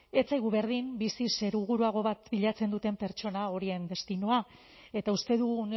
ez zaigu berdin bizi seguruago bat bilatzen duten pertsona horien destinoa eta uste dugu